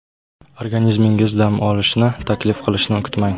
Organizmingiz dam olishni taklif qilishini kutmang.